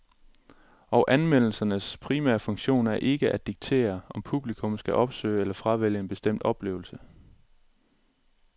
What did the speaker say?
Og anmeldelsernes primære funktion er ikke at diktere, om publikum skal opsøge eller fravælge en bestemt oplevelse.